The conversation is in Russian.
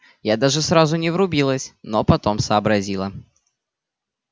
я даже сразу не врубилась но потом сообразила